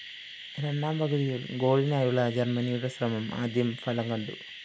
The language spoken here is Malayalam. രണ്ടാം പകുതിയിൽ ഗോളിനായുള്ള ജർമനിയുടെ ശ്രമം ആദ്യം ഫലം കണ്ടു